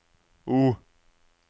O